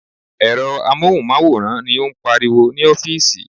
Èrò amóhùnmáwòrán ni ó ń pariwo ní ọ́fíìsì.